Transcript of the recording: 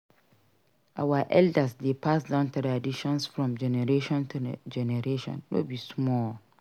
Our elders dey pass down traditions from generation to generation no be small.